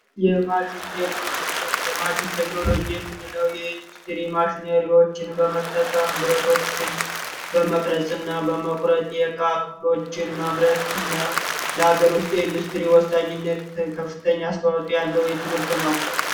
የማሽን ቴክኖሎጂ የምንለው በመጠቀም ብረቶችን በመቅረጽ እና በመቁን ማምረት እና ለሀገር ውስጥ ኢንዱስትሪ ትምህርት ነው